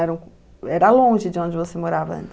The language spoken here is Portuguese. Era longe de onde você morava antes? Eram